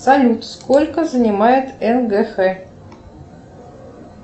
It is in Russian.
салют сколько занимает нгх